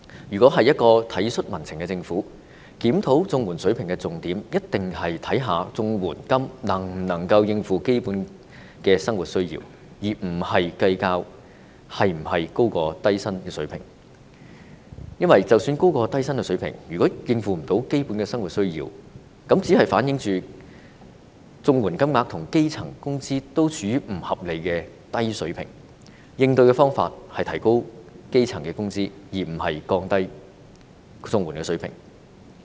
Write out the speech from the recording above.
如果是一個體恤民情的政府，在檢討綜援水平時的重點，一定是考慮綜援金額能否應付基本的生活需要，而不是計較是否高於低薪的水平，因為即使是高於低薪的水平，如果無法應付基本的生活需要，這只是反映出綜援金額跟基層工資均處於不合理的低水平，應對方法是提高基層工人的工資，而不是降低綜援的水平。